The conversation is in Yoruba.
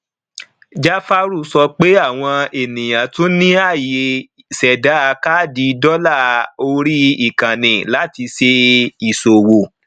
jafaru sọ pé àwọn ènìyàn tún ní àyè ṣẹdà káàdì dọlà orí ìkànnì láti ṣe ìṣòwò